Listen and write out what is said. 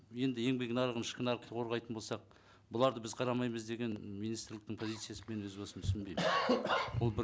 енді еңбек нарығын ішкі нарықты қорғайтын болсақ бұларды біз қарамаймыз деген министрліктің позициясын мен өз басым түсінбеймін ол бір